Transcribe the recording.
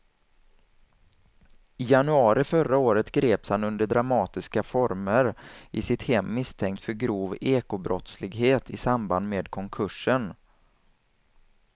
I januari förra året greps han under dramatiska former i sitt hem misstänkt för grov ekobrottslighet i samband med konkursen.